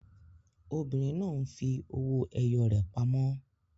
Obìnrin náà ń fi owó ẹyọ rẹ̀ pamọ́.